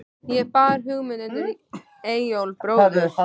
Ég bar hugmynd undir Eyjólf bróður.